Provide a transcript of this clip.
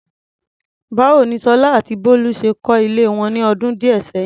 Báwo ni Sola àti Bolu ṣe kọ́ ilé wọn ní ọdún díẹ̀ sẹ́yìn?